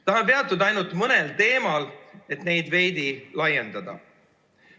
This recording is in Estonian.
Tahan peatuda ainult mõnel teemal, neid veidi laiendades.